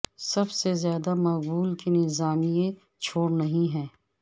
سب سے زیادہ مقبول کے نظام ئیے چھوڑ نہیں ہے